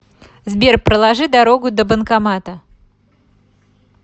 сбер проложи дорогу до банкомата